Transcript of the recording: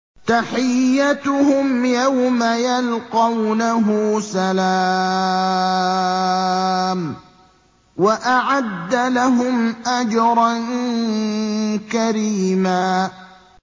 تَحِيَّتُهُمْ يَوْمَ يَلْقَوْنَهُ سَلَامٌ ۚ وَأَعَدَّ لَهُمْ أَجْرًا كَرِيمًا